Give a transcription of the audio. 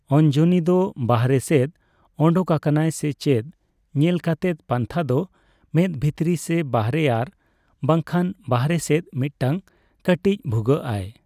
ᱟᱧᱡᱚᱱᱤ ᱫᱚ ᱵᱟᱦᱨᱮ ᱥᱮᱫ ᱟᱰᱳᱠ ᱟᱠᱟᱱᱟ ᱥᱮ ᱪᱮᱫ ᱧᱮᱞ ᱠᱟᱛᱮᱫ ᱯᱟᱱᱛᱷᱟ ᱫᱚ ᱢᱮᱫ ᱵᱷᱤᱛᱨᱤ ᱥᱮ ᱵᱟᱦᱨᱮ ᱟᱨ ᱵᱟᱝᱠᱷᱟᱱ ᱵᱟᱦᱨᱮ ᱥᱮᱫ ᱢᱤᱛᱴᱟᱝ ᱠᱟᱹᱴᱤᱡ ᱵᱷᱩᱜᱟᱹᱜ ᱟᱭ ᱾